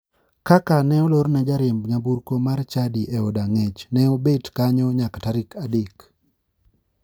Kaka ne olorne jariemb nyamburko mar chadi e od ang'ech, ne obet kanyo nyaka tarik adek.